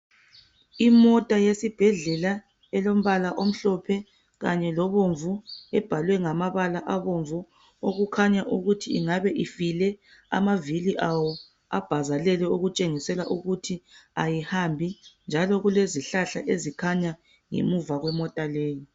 Imota yesibhedlela elompala omhlophe kanye lobomvu ebhalwe ngamabala abomvu okukhanya ukuthi ingabe ifile amavili awo abhazelele okutshengisela ukuthi ayihambi njalo kulezihlahla ezikhanya ngemuva kwemota leyo.